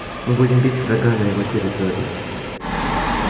мы будем бить врага на его территории